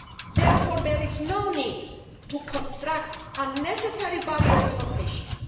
Therefore, there is no need to construct unnecessary barriers for patients.